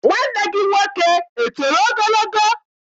Nwanne gị nwoke etoro ogologo?